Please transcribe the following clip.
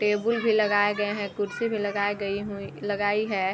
Table भी लगाए गए हैं कुर्सी भी लगाई गई हुई लगाई है।